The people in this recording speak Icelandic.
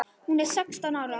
Hún er sextán ára.